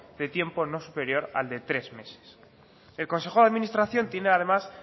de tiempo no superior al de tres meses el consejo de administración tiene además